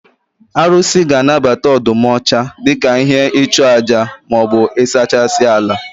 Arụsị ga anabata ọdụm ọcha dika ihe nchụaja ma ịsachasị ala